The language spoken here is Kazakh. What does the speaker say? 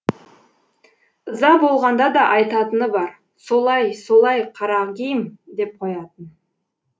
ыза болғанда да айтатыны бар солай солай карагим деп қоятын